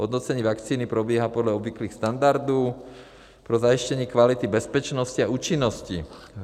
Hodnocení vakcíny probíhá podle obvyklých standardů pro zajištění kvality bezpečnosti a účinnosti.